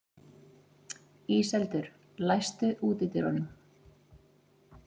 Íseldur, læstu útidyrunum.